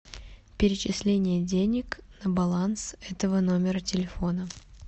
перечисление денег на баланс этого номера телефона